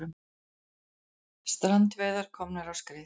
Strandveiðar komnar á skrið